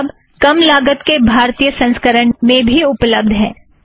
यह किताब कम लागत के भारतीय संस्करण में भी उप्लब्द है